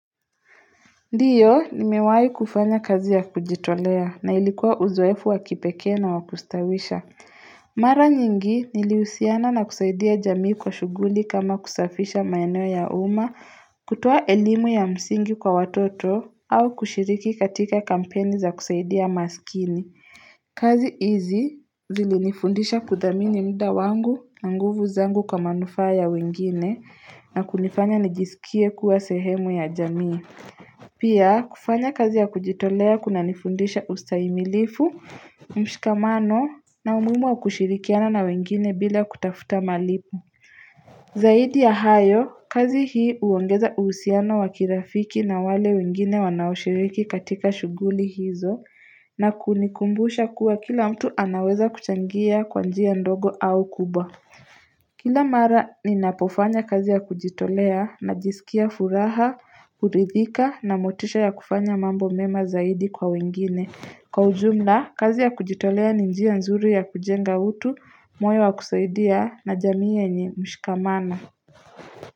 Ndio, nimewahi kufanya kazi ya kujitolea na ilikuwa uzoefu wakipekee na wa kustawisha. Mara nyingi nilihusiana na kusaidia jamii kwa shughuli kama kusafisha maeno ya uma, kutoa elimu ya msingi kwa watoto, au kushiriki katika kampeni za kusaidia masikini. Kazi hizi zilinifundisha kuthamini mda wangu na nguvu zangu kwa manufaa ya wengine na kunifanya nijisikie kuwa sehemu ya jamii. Pia kufanya kazi ya kujitolea kuna nifundisha ustahimilifu, mshikamano na umuhimu wa kushirikiana na wengine bila kutafuta malipo Zaidi ya hayo kazi hii huongeza uhusiano wa kirafiki na wale wengine wanaoshiriki katika shughuli hizo na kunikumbusha kuwa kila mtu anaweza kuchangia kwa njia ndogo au kubwa Kila mara ninapofanya kazi ya kujitolea najisikia furaha, kurithika na motisha ya kufanya mambo mema zaidi kwa wengine. Kwa ujumla, kazi ya kujitolea ni njia nzuri ya kujenga utu, moyo wa kusaidia na jamii yenye mshikamana.